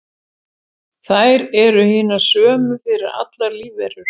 þær eru hinar sömu fyrir allar lífverur